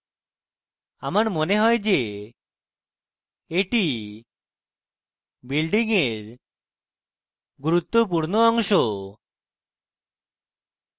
আমার মনে হয় যে এটি building এর গুরুত্বপূর্ণ অংশ